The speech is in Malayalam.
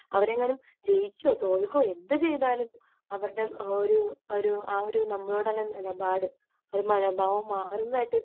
അവരെങ്ങാനും ജയിക്കുവോ തോൽക്കുവോ എന്തുചെയ്താലും അവരുടെ ഒരു ആ ഒരു നമ്മളോടുള്ള നിലപാട് ഒരു മനോഭാവം മാറുന്നത് ആയിട്ട്